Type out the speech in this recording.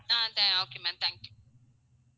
ah tha~ okay ma'am thank you